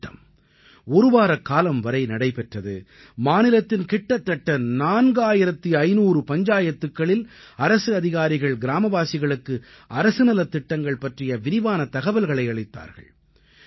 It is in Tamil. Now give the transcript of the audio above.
இந்தத் திட்டம் ஒருவாரக் காலம் வரை நடைபெற்றது மாநிலத்தின் கிட்டத்தட்ட 4500 பஞ்சாயத்துக்களில் அரசு அதிகாரிகள் கிராமவாசிகளுக்கு அரசு நலத்திட்டங்கள் பற்றிய விரிவான தகவல்களை அளித்தார்கள்